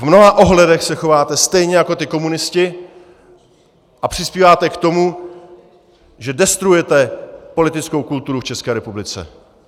V mnoha ohledech se chováte stejně jako ti komunisti a přispíváte k tomu, že destruujete politickou kulturu v České republice.